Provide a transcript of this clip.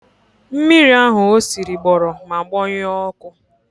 Mmiri ahụ o siri gbọrọ ma gbọnyuo ọkụ.